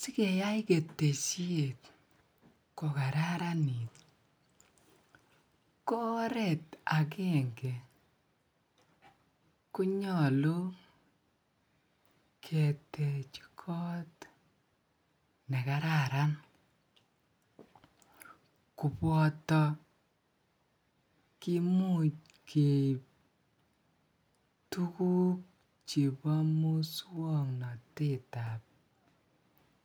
sigeyaai ketesyeet kogararaniit ko oreet agenge konyolu keteche koot negararan koboto kimuuch keiib tuguuk chebo muswongotete ab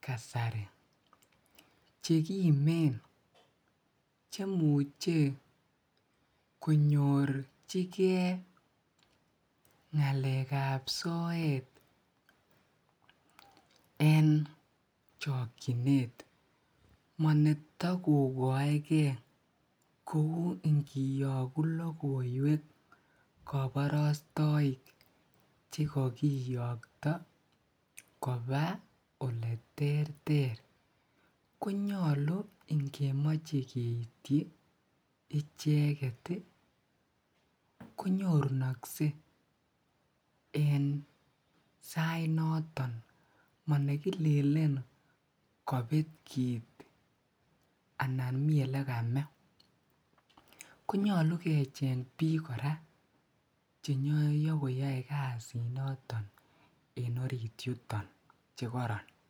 kasari chegimeen chemuche konyorchigee ngaleek ab soet en chokyineet, monetokogoi gee, koou ingiyoogu logoiweek koborostoik chegogiyokto koba oleterter, konyolu ingemoche keiityi icheget iih konyorunokse en sait noton monegilelen kobeet kiiit anan mii elegamee konyolu kecheng biik koraa chenyogoyoi kasiit noton en oriit yutoon chegoroon.